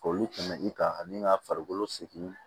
Olu tɛmɛ i kan ani ka farikolo sigi